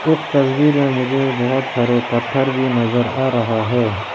इस तस्वीर में मुझे बहुत सारे पत्थर भी नजर आ रहा है।